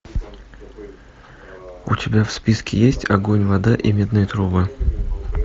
у тебя в списке есть огонь вода и медные трубы